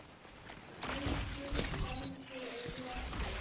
Löngum gangi er lokið.